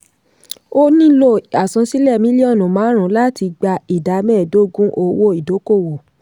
ó nílò àsansílẹ̀ mílíọ́nù márùn-ún láti gba ìdá mẹ́ẹ̀dógún owó ìdókòòwò.